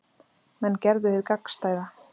Menn gerðu hið gagnstæða